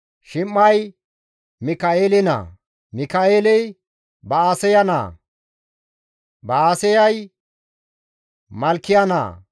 Shim7ay Mika7eele naa; Mika7eeley Ba7aseya naa; Ba7aseyay Malkiya naa;